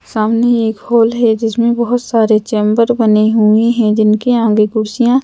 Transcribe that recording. सामने एक हॉल है जिसमें बहोत सारे चेम्बर बने हुए है जिनके आगे कुर्सियां--